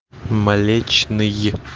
млечный